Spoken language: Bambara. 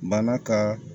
Bana ka